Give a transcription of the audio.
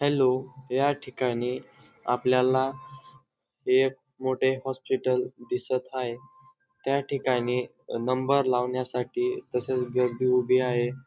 Hello या ठिकाणी आपल्याला एक मोठे हॉस्पिटल दिसत आहे त्या ठिकाणी नंबर लावण्यासाठी तसेच गर्दी उभी आहे.